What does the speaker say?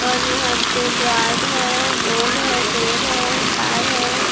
और यहां पे गार्ड है लोग हैं पैर हैं तार है। व्